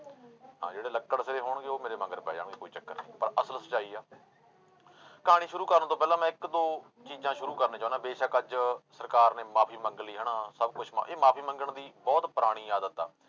ਹਾਂ ਜਿਹੜੇ ਲੱਕੜ ਦੇ ਹੋਣਗੇ ਉਹ ਮੇਰੇ ਮਗਰ ਪੈ ਜਾਣਗੇ ਕੋਈ ਚੱਕਰ ਨੀ ਪਰ ਅਸਲ ਸਚਾਈ ਆ ਕਹਾਣੀ ਸ਼ੁਰੂ ਕਰਨ ਤੋਂ ਪਹਿਲਾਂ ਮੈਂ ਇੱਕ ਦੋ ਚੀਜ਼ਾਂ ਸ਼ੁਰੂ ਕਰਨੀ ਚਾਹੁਨਾ ਬੇਸ਼ਕ ਅੱਜ ਸਰਕਾਰ ਨੇ ਮਾਫ਼ੀ ਮੰਗ ਲਈ ਹਨਾ ਸਭ ਕੁਛ ਮ ਇਹ ਮਾਫ਼ੀ ਮੰਗਣ ਦੀ ਬਹੁਤ ਪੁਰਾਣੀ ਆਦਤ ਆ।